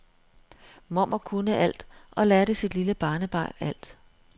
Mormor kunne alt og lærte sit lille barnebarn alt.